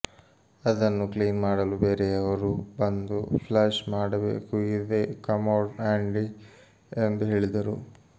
ಅದನ್ನು ಕ್ಲೀನ್ ಮಾಡಲು ಬೇರೆಯವರು ಬಂದು ಫ್ಲಶ್ ಮಾಡಬೇಕು ಇದೇ ಕಮೋಡ್ ಆಂಡಿ ಎಂದು ಹೇಳಿದರು